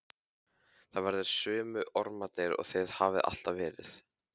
Þið verðið sömu ormarnir og þið hafið alltaf verið.